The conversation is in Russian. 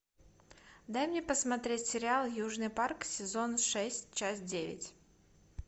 дай мне посмотреть сериал южный парк сезон шесть часть девять